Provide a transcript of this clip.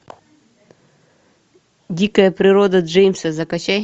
дикая природа джеймса закачай